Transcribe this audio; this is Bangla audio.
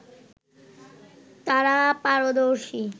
তারা পারদর্শী